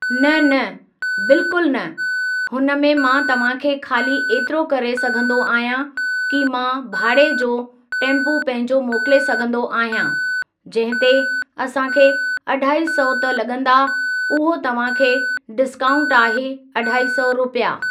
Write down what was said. न न बिल्कुल न हुन में मां तव्हांखे ख़ाली ऐतिरो करे सघंदो आहियां कि मां भाड़े जो टैम्पू पंहिंजो मोकिले सघंदो आहियां जंहिं ते असांखे अढाई सौ त लगं॒दा उहो तव्हांखे डिस्काउंट आहे अढाई सौ रुपिया।